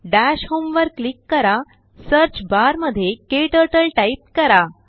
दश homeवर क्लीक करासर्च बारमध्येKTurtleटाईप करा